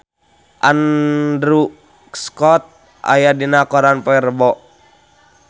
Andrew Scott aya dina koran poe Rebo